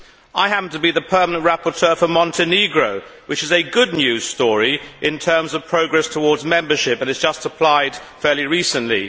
I happen to be the permanent rapporteur for Montenegro, which is a good news story in terms of progress towards membership, and it has just applied fairly recently.